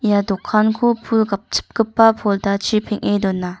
ia dokanko pul gapchipgipa pordachi peng·e dona.